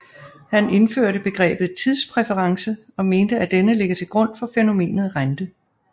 Han indførte begrebet tidspræference og mente at denne ligger til grund for fænomenet rente